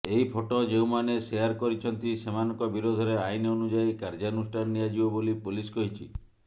ଏହି ଫଟୋ ଯେଉଁମାନେ ସେୟାର କରିଛନ୍ତି ସେମାନଙ୍କ ବିରୋଧରେ ଆଇନ ଅନୁଯାୟୀ କାର୍ଯ୍ୟାନୁଷ୍ଠାନ ନିଆଯିବ ବୋଲି ପୋଲିସ କହିଛି